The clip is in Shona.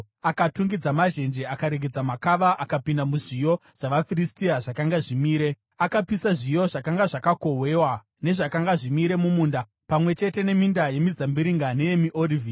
Akatungidza mazhenje akaregedza makava akapinda muzviyo zvavaFiristia zvakanga zvimire. Akapisa zviyo zvakanga zvakohwewa nezvakanga zvimire mumunda, pamwe chete neminda yemizambiringa neyemiorivhi.